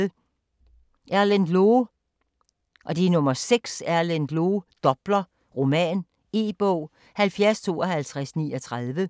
6. Loe, Erlend: Doppler: roman E-bog 705239